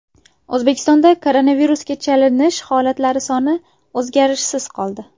O‘zbekistonda koronavirusga chalinish holatlari soni o‘zgarishsiz qoldi.